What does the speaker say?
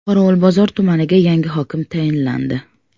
Qorovulbozor tumaniga yangi hokim tayinlandi.